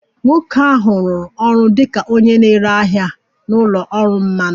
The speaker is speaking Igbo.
Nwoke ahụ rụrụ ọrụ dị ka onye na-ere ahịa na ụlọ ọrụ mmanụ